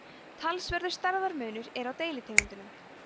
talsverður stærðarmunur er á deilitegundum